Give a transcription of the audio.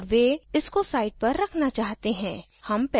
औए वे इसको site पर रखना चाहते हैं